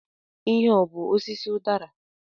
Ihe a ọ bú osisi udara?